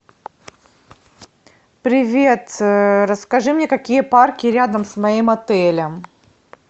привет расскажи мне какие парки рядом с моим отелем